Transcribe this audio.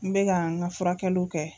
N be ga n ka furakɛluw kɛ